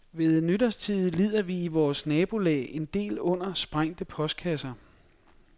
Ved nytårstide lider vi i vort nabolag en del under sprængte postkasser.